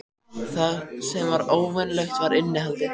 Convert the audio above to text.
Það sem var óvenjulegt var innihaldið.